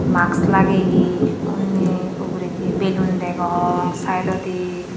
mask lageye unni ugurendi balloon degong sidedodi.